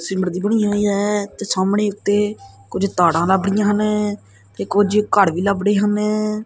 ਸੀਮਿਰਟ ਦੀ ਬਣੀ ਹੋਈ ਐ ਤੇ ਸਾਹਮਣੇ ਉੱਤੇ ਕੁਝ ਤਾੜਾਂ ਲੱਭ ੜਹੀਆਂ ਹਨ ਤੇ ਕੁਝ ਘੜ ਵੀ ਲੱਭ ੜਹੇ ਹਨ।